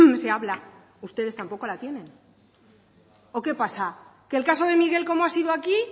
se habla ustedes tampoco la tienen o qué pasa que el caso de miguel como ha sido aquí